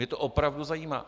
Mě to opravdu zajímá!